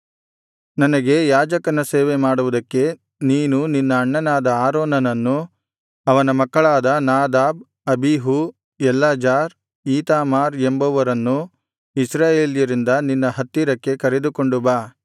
ನನಗೆ ಯಾಜಕನ ಸೇವೆ ಮಾಡುವುದಕ್ಕೆ ನೀನು ನಿನ್ನ ಅಣ್ಣನಾದ ಆರೋನನನ್ನೂ ಅವನ ಮಕ್ಕಳಾದ ನಾದಾಬ್ ಅಬೀಹೂ ಎಲ್ಲಾಜಾರ್ ಈತಾಮಾರ್ ಎಂಬುವರನ್ನೂ ಇಸ್ರಾಯೇಲ್ಯರಿಂದ ನಿನ್ನ ಹತ್ತಿರಕ್ಕೆ ಕರೆದುಕೊಂಡು ಬಾ